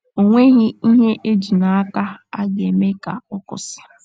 O nweghị ihe e ji n’aka a ga - eme ka ọ kwụsị.